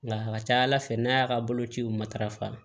Nka a ka ca ala fɛ n'a y'a ka bolociw matarafa